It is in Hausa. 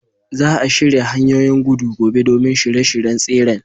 Za a shirya hanyoyin gudu gobe domin shirye-shiryen tseren.